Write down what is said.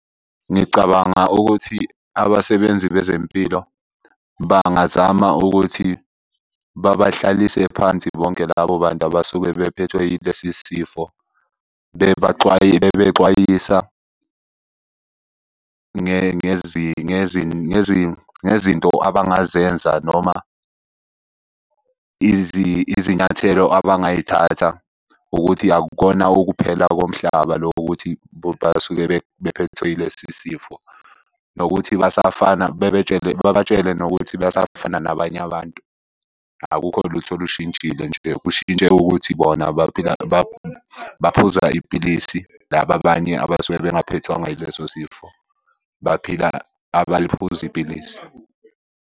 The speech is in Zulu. Ngicabanga ukuthi abasebenzi bezempilo bangazama ukuthi babahlalise phansi bonke labo bantu abasuke bephethwe yilesi sifo. Bebaxwayisa ngezinto abangazenza noma izinyathelo abangazithatha, ukuthi akukona ukuphela komhlaba loku kuthi basuke bephethwe yilesi sifo. Nokuthi basafana, babatshele nokuthi basafana nabanye abantu. Akukho lutho olushintshile nje kushintshe ukuthi bona baphila baphuza ipilisi, laba abanye abasuke bengaphethwanga ileso sifo, baphila abaliphuzi ipilisi.